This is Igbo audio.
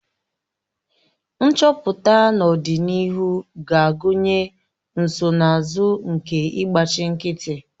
Nchọpụta n'ọdịnihu ga-agụnye nsonaazụ nke ịgbachi nkịtị